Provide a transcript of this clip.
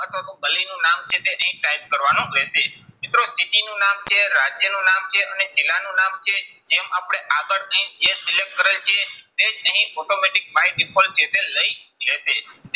અથવા તો ગલીનું નામ છે તે અહીં type કરવાનું રહેશે. મિત્રો city નું નામ છે રાજ્યનું નામ છે અને જિલ્લાનું નામ છે, જેમ આપણે આગળ અહીં જે select કરેલ છે તે જ અહીં automatic by default જે છે લઇ લેશે.